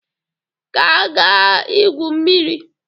Ka agaa igwu mmiri!